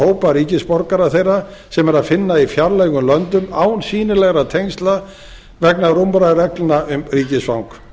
hópa ríkisborgara þeirra sem er að finna í fjarlægum löndum án sýnilegra tengsla vegna rúmra reglna um ríkisfang